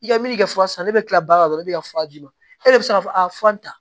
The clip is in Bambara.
I ka min kɛ fura san ne bɛ tila baara la dɔrɔn ne bɛ ka fura d'i ma e yɛrɛ bɛ se ka fɔ tan